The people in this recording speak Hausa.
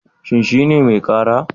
Shin shi ne mai ƙara?